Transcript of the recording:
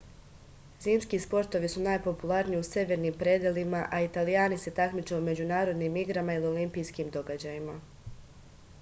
zimski sportovi su najpopularniji u severnim predelima a italijani se takmiče u međunarodnim igrama ili olimpijskim događajima